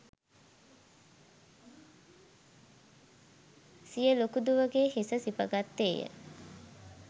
සිය ලොකු දුවගේ හිස සිප ගත්තේය